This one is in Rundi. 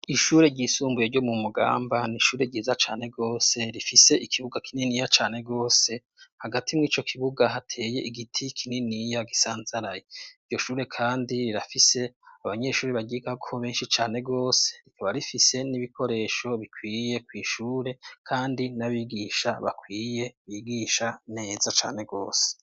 Ishure ry'isumbuye ryo mu Mugamba n'ishure ryiza cane gose. Rifise ikibuga kininiya cane gose. Hagati mw'ico kibuga ,hateye igiti kininiya gisanzaraye. Iryo shure kandi rirafise abanyeshuri baryigako benshi cane gose. Rikaba rifise n'ibikoresho bikwiye kw'ishure kandi n'abigisha bakwiye bigisha neza cane gose.